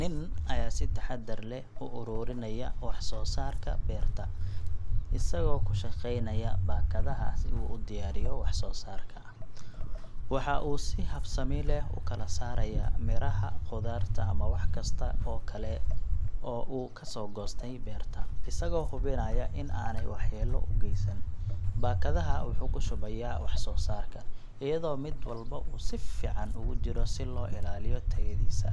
Nin ayaa si taxaddar leh u ururinaya wax soo saarka beerta, isagoo ku shaqeynaya baakadaha si uu u diyaariyo wax soo saarka. Waxa uu si habsami leh u kala saaraya miraha, khudaarta ama wax kasta oo kale oo uu ka soo goostay beerta, isagoo hubinaya in aanay waxyeelo u geysan. Baakadaha wuxuu ku shubayaa wax soo saarka, iyadoo mid walba uu si fiican ugu jiro si loo ilaaliyo tayadiisa